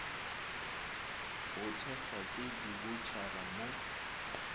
go thekgwa ke diboutšhara mo